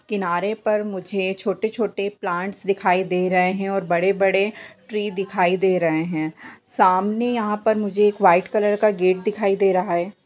किनारे पर मुझे छोटे-छोटे प्लांट्स दिखाई दे रहे हैं और बड़े-बड़े ट्री दिखाई दे रहे हैं। सामने यहाँ पर मुुझे एक वाइट कलर का गेट दिखाई दे रहा है।